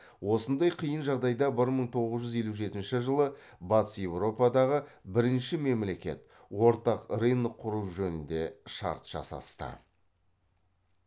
осындай қиын жағдайда бір мың тоғыз жүз елу жетінші жылы батыс еуропадағы бірінші мемлекет ортақ рынок құру жөнінде шарт жасасты